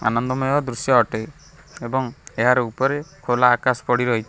ଆନନ୍ଦମୟ ଦୃଶ୍ଯ ଅଟେ ଏବଂ ଏହାର ଉପରେ ଖୋଲା ଆକାଶ ପଡିରହିଛି।